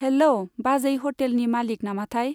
Hello! बाजै ह'टेलनि मालिग नामाथाय?